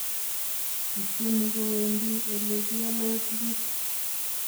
Kiityeni kowendi olekiole tuguk